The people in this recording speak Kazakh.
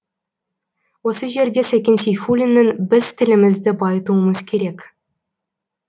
осы жерде сәкен сейфуллиннің біз тілімізді байытуымыз керек